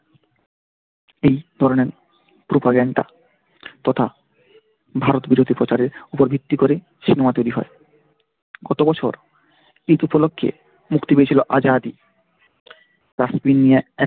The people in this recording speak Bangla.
এই ধরনের propaganda তথা ভারত বিরোধী প্রচার এর উপর ভিত্তি করে সিনেমা তৈরি হয় গতবছর ঈদ উপলক্ষে মুক্তি পেয়েছিল আজাদী কাশ্মীর নিয়ে এক